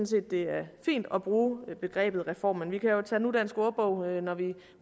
set det er fint at bruge begrebet reform men vi kan jo tage nudansk ordbog når vi